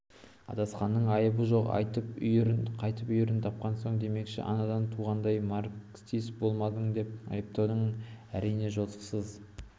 адасқанның айыбы жоқ қайтып үйірін тапқан соң демекші анадан туғаннан марксист болмадың деп айыптау әрине жосықсыз